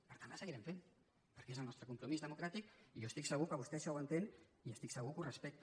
per tant la seguirem fent perquè és el nostre compromís democràtic i jo estic segur que vostè això ho entén i estic segur que ho respecta